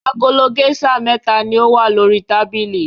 Agolo géíṣà mẹ́ta ni ó wà lórí tábìlì.